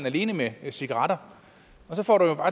alene med cigaretter